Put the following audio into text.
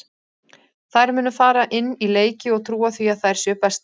Þær munu fara inn í leiki og trúa því að þær séu bestar.